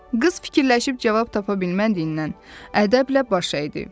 Qız fikirləşib cavab tapa bilmədiyindən ədəblə baş əydi.